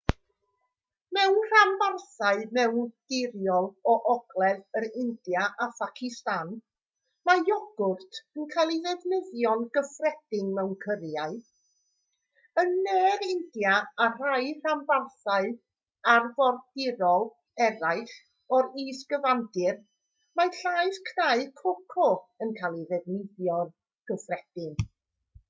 mewn rhanbarthau mewndirol o ogledd yr india a phacistan mae iogwrt yn cael ei ddefnyddio'n gyffredin mewn cyrïau yn ne'r india a rhai rhanbarthau arfordirol eraill o'r is-gyfandir mae llaeth cnau coco yn cael ei ddefnyddio'n gyffredin